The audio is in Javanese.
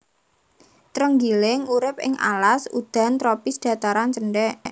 Trenggiling urip ing alas udan tropis dhataran cendhèk